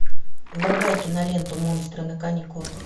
врубай киноленту монстры на каникулах